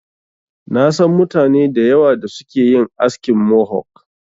Na san mutane da yawa da suke yin askin Mohok.